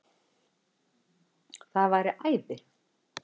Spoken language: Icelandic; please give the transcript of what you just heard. Það væri æði